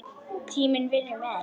Tíminn vinnur með henni.